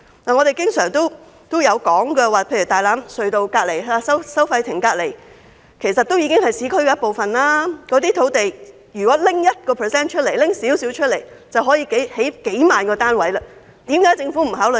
我們經常提到大欖隧道收費亭附近的土地，其實屬於市區一部分，如果可以動用這些土地的 1%， 便可以興建數萬個單位，為何政府不予考慮？